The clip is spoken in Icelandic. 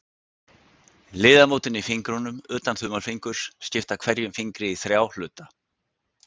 Liðamótin í fingrunum, utan þumalfingurs, skipta hverjum fingri í þrjá hluta.